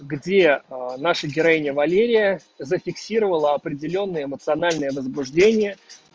где наша героиня валерия зафиксировала определённое эмоциональное возбуждение